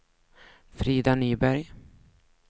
Frida Nyberg